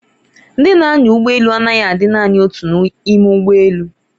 Ndị na-anya ụgbọ elu anaghị adị naani otu n'ime ụgbọ elu.